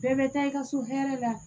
Bɛɛ bɛ taa i ka so hɛrɛ la